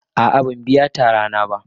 A'a ban biya tara na ba.